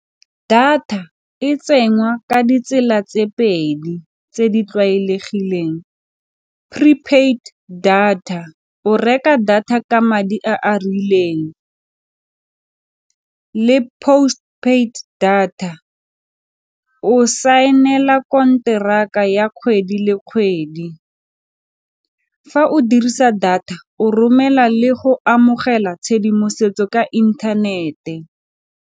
Data e ka ditsela tse pedi tse di tlwaelegileng prepaid data, o reka data ka madi a a rileng le postpaid data, o saenela konteraka ya kgwedi le kgwedi. Fa o dirisa data o romela le go amogela tshedimosetso ka inthanete.